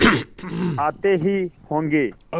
आते ही होंगे